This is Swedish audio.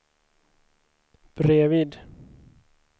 bredvid